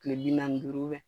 Kile bi naani ni duuru